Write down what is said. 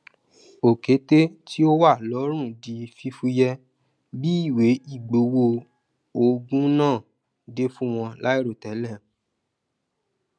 òketè tí ó wà lọrùn di fúfúyẹ bí ìwé ìgbowó ogún náà dé fún wọn láìrotẹlẹ